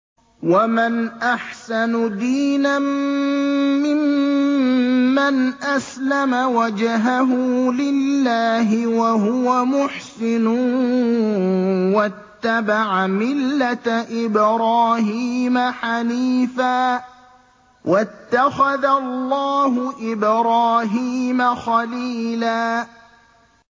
وَمَنْ أَحْسَنُ دِينًا مِّمَّنْ أَسْلَمَ وَجْهَهُ لِلَّهِ وَهُوَ مُحْسِنٌ وَاتَّبَعَ مِلَّةَ إِبْرَاهِيمَ حَنِيفًا ۗ وَاتَّخَذَ اللَّهُ إِبْرَاهِيمَ خَلِيلًا